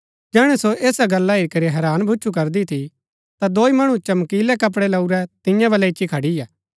जैहणैं सो ऐसा गल्ला हेरी करी हैरान भुच्‍छु करदी थी ता दौई मणु चमकीलै कपड़ै लऊरै तियां बल्लै इच्ची खड़ियै